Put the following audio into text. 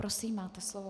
Prosím, máte slovo.